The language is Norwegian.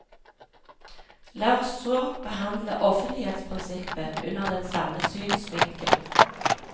La oss så behandle offentlighetsprinsippet under den samme synsvinkel.